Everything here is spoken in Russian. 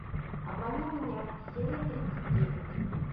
обмани меня серия тридцать девять